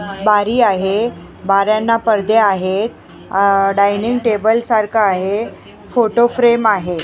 बारी आहे बाऱ्यांना पडदे आहेत अह डायनिंग टेबल सारखा आहे फोटो फ्रेम आहे.